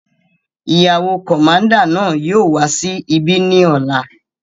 Ìyàwó kọ̀máúndà náà yóò wà sí ibí ni ọ́la